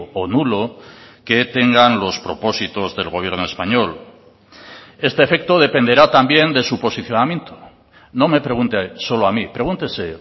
o nulo que tengan los propósitos del gobierno español este efecto dependerá también de su posicionamiento no me pregunte solo a mí pregúntese